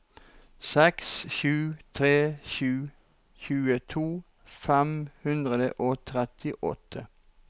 seks sju tre sju tjueto fem hundre og trettiåtte